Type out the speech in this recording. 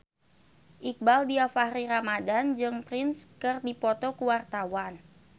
Iqbaal Dhiafakhri Ramadhan jeung Prince keur dipoto ku wartawan